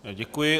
Děkuji.